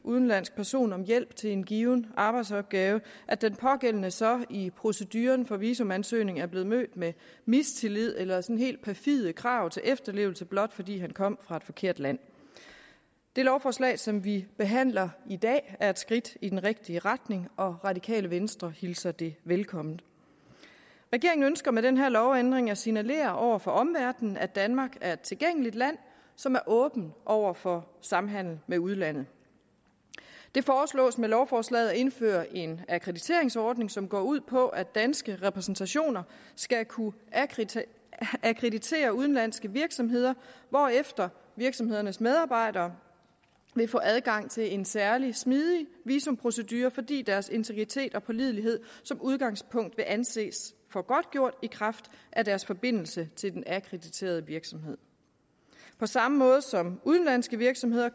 udenlandsk person om hjælp til en given arbejdsopgave at den pågældende så i proceduren for visumansøgning er blevet mødt med mistillid eller sådan helt perfide krav til efterlevelse blot fordi kom fra et forkert land det lovforslag som vi behandler i dag er et skridt i den rigtige retning og radikale venstre hilser det velkommen regeringen ønsker med den her lovændring at signalere over for omverdenen at danmark er et tilgængeligt land som er åben over for samhandel med udlandet det foreslås med lovforslaget at indføre en akkrediteringsordning som går ud på at danske repræsentationer skal kunne akkreditere akkreditere udenlandske virksomheder hvorefter virksomhedernes medarbejdere vil få adgang til en særlig smidig visumprocedure fordi deres integritet og pålidelighed som udgangspunkt vil anses for godtgjort i kraft af deres forbindelse til den akkrediterede virksomhed på samme måde som udenlandske virksomheder